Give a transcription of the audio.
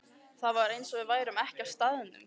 Það var eins og við værum ekki á staðnum.